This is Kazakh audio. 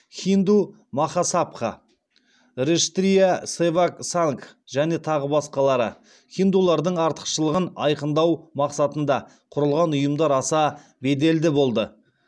хинду махасабха раштрия севак сангх және тағы басқа хиндулардың артықшылығын айқындау мақсатында құрылған ұйымдар аса беделді болды